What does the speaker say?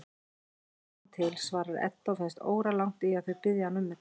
Við sjáum til, svarar Edda og finnst óralangt í að þau biðji hana um þetta.